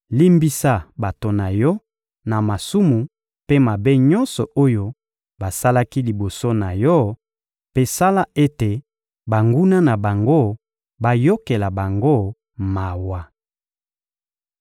limbisa bato na Yo na masumu mpe mabe nyonso oyo basalaki liboso na Yo mpe sala ete banguna na bango bayokela bango mawa.